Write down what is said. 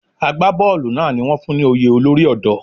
Àgbá bọ́ọ̀lù náà ni wón fún ní oyè olórí ọ̀dọ́.